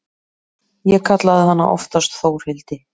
Ég kallaði hana oftast Þórhildi.